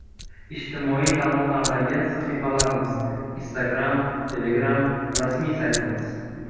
Ijtimoiy tarmoqlardagi sahifalarimiz: Instagram Telegram Rasmiy saytimiz: .